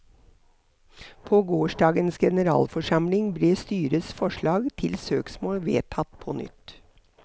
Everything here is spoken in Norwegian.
På gårsdagens generalforsamling ble styrets forslag til søksmål vedtatt på nytt.